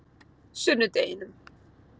sunnudeginum